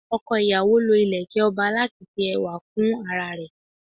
Oko ìyàwó lọ ileke ọba láti fi ẹwà kún ara rẹ